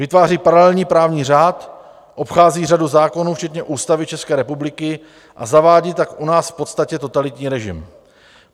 Vytváří paralelní právní řád, obchází řadu zákonů včetně Ústavy České republiky a zavádí tak u nás v podstatě totalitní režim.